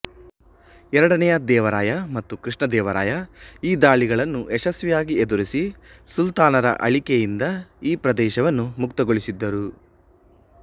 ಎರಡನೆಯ ದೇವರಾಯ ಮತ್ತು ಕೃಷ್ಣದೇವರಾಯ ಈ ದಾಳಿಗಳನ್ನು ಯಶಸ್ವಿಯಾಗಿ ಎದುರಿಸಿ ಸುಲ್ತಾನರ ಆಳಿಕೆಯಿಂದ ಈ ಪ್ರದೇಶವನ್ನು ಮುಕ್ತಗೊಳಿಸಿದ್ದರು